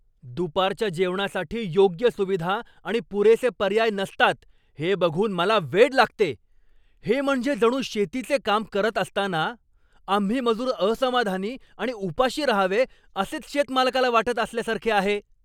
दुपारच्या जेवणासाठी योग्य सुविधा आणि पुरेसे पर्याय नसतात हे बघून मला वेड लागते. हे म्हणजे जणू शेतीचे काम करत असताना आम्ही मजूर असमाधानी आणि उपाशी राहावे असेच शेत मालकाला वाटत असल्यासारखे आहे.